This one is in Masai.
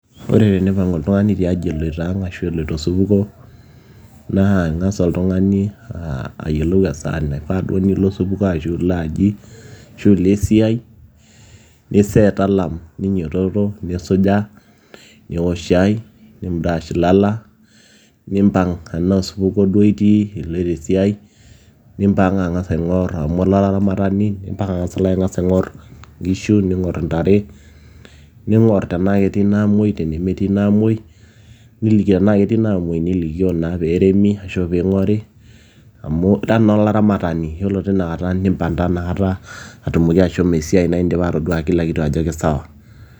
Ore teneipang'u oltung'ani tiaji eloito aang ashua osupuku naa ing'as oltung'ani ayiolou esaa duo naifaa nilo osupuko ashuua aji ashuu ilo esiai niseet alarm ninyiototo nisuja niook shaai nimbrash ilala nimpang alo osupuko duo itiii iloito esiai nimpang ang'as aing'or amu ira olaramatani nimpang ang'as alo aing'or inkishu ning'or intare ning'or tenaa ketii inaamoi tenemetii inaamuoi niliki tenaa ketii inaamuoi nilikio naa peeremi ashuu peing'ori amu ira naa olaramatani yiolo tinakata nimpang taa inakata atumoki ashomo esiai indipa atoduaa kila kitu ajo kisawa.